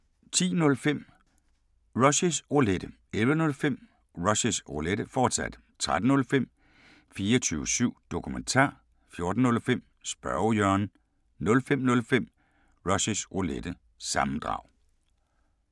10:05: Rushys Roulette 11:05: Rushys Roulette, fortsat 13:05: 24syv Dokumentar 14:05: Spørge Jørgen 05:05: Rushys Roulette – sammendrag